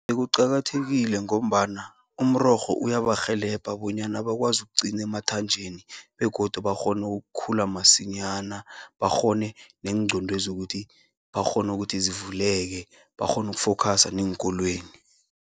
Kuqakathekile ngombana, umrorho uyabarhelebha bonyana bakwazi ukuqini emathanjeni, begodu bakghonu ukukhula masinyana. Bakghone neengqondwezi ukuthi bakghona ukuthi zivuleke, bakghonu ukufokhasa neenkolweni.